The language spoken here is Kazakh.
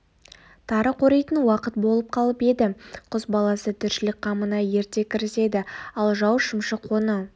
тары қоритын уақыт болып қалып еді құс баласы тіршілік қамына ерте кіріседі ал жау шымшық оны